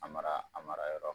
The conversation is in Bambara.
A mara a mara yɔrɔ